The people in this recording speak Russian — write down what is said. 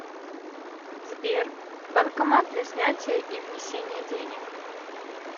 сбер банкомат для снятия и внесения денег